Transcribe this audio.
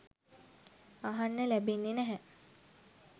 අහන්න ලැබෙන්නෙ නැහැ.